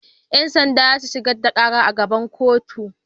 Yan sanda za su shigar da karar a gaban kotu